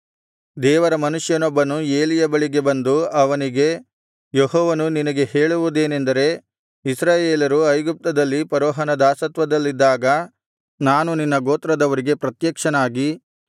ದೇವರ ಮನುಷ್ಯನೊಬ್ಬನು ಏಲಿಯ ಬಳಿಗೆ ಬಂದು ಅವನಿಗೆ ಯೆಹೋವನು ನಿನಗೆ ಹೇಳುವುದೇನಂದರೆ ಇಸ್ರಾಯೇಲರು ಐಗುಪ್ತದಲ್ಲಿ ಫರೋಹನ ದಾಸತ್ವದಲ್ಲಿದ್ದಾಗ ನಾನು ನಿನ್ನ ಗೋತ್ರದವರಿಗೆ ಪ್ರತ್ಯಕ್ಷನಾಗಿ